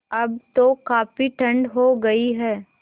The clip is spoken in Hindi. अब तो काफ़ी ठण्ड हो गयी है